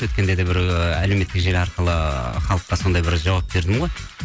өткенде де бір ы әлеуметтік желі арқылы халыққа сондай бір жауап бердім ғой